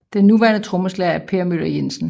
Den nuværende trommeslager er Per Möller Jensen